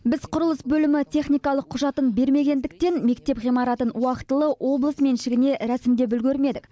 біз құрылыс бөлімі техникалық құжатын бермегендіктен мектеп ғимаратын уақытылы облыс меншігіне рәсімдеп үлгермедік